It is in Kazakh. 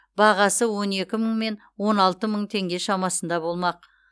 бағасы он екі мың мен он алты мың теңге шамасында болмақ